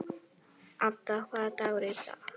Ada, hvaða dagur er í dag?